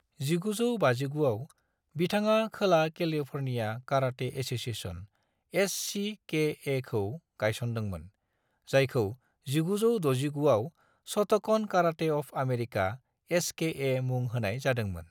1959 आव, बिथाङा खोला कैलिफोर्निया कराटे एसोसिएशन (एससीकेए) खौ गायसनदोंमोन, जायखौ1969 आव Shotokan Karate of America (SKA) मुं होनाय जादोंमोन।